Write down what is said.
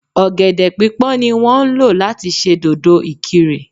Ọ̀gẹ̀dè pípọ́n ní wọ́n ń lò láti ṣe dòdò-ikirè